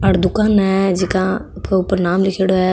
आ दुकान है जीका ऊपर नाम लीखेड़ो है।